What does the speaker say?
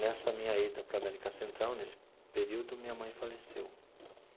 Nessa minha ida para a América Central, nesse período, minha mãe faleceu.